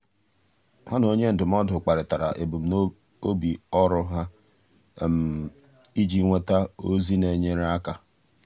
há na onye ndụmọdụ kparịtara ebumnobi ọ́rụ́ ha iji nwéta ózị́ nà-ènyéré áká.